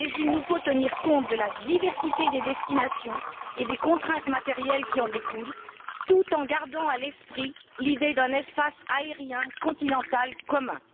Nous devons toutefois tenir compte de la diversité des destinations et des contraintes matérielles qui en découlent, tout en gardant à l'esprit l'idée d'un espace aérien continental commun.